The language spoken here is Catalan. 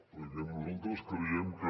perquè nosaltres creiem que